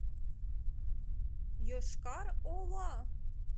йошкар ола